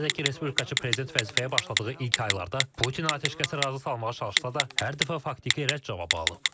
Qeyd edək ki, Respublikaçı prezident vəzifəyə başladığı ilk aylarda Putin atəşkəsə razı salmağa çalışsa da, hər dəfə faktiki rədd cavabı alıb.